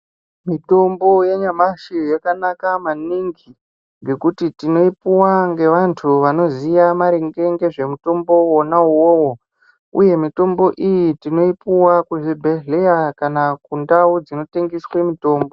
Mitombo yanyamashi yakanaka maningi ngekuti tinoipuwa nevantu vanoziya maringe nezvimitombo wona iwowo uye mitombo iyi tinoipuwa muzvibhedhlera kana mundau dzinotengesa mitombo.